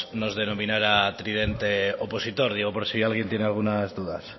nos denominara tridente opositor digo por si alguien tiene algunas dudas